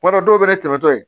Kuma dɔ dɔw bɛ ne dɛmɛ tɔ ye